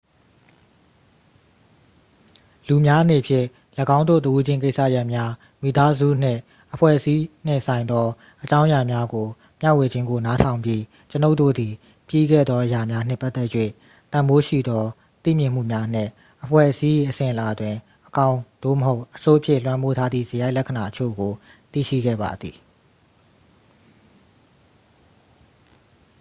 လူများအနေဖြင့် ၎င်းတို့တစ်ဦးချင်းကိစ္စရပ်များ မိသားစု နှင့် အဖွဲ့အစည်းနှင့်ဆိုင်သောအကြောင်းအရာများကို မျှဝေခြင်းကို နားထောင်ပြီး ကျွန်ုပ်တို့သည် ပြီးခဲ့သောအရာများနှင့်ပတ်သက်၍ တန်ဖိုးရှိသောသိမြင်မှုများနှင့် အဖွဲ့အစည်း၏အစဉ်အလာတွင် အကောင်း သို့မဟုတ် အဆိုးဖြင့် လွှမ်းမိုးထားသည့်စရိုက်လက္ခဏာအချို့ကို သိရှိခဲ့ပါသည်